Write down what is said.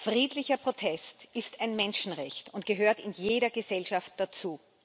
Friedlicher Protest ist ein Menschenrecht und gehört in jeder Gesellschaft dazu.